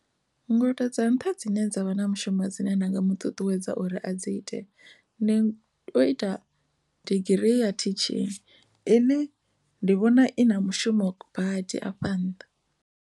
Ngudo dza nṱha dzine dza vha na mushumo dzine nda nga mu ṱuṱuwedza uri a dzi ite ndi u ita digirii ya teaching ine ndi vhona i na mushumo badi afha nnḓa.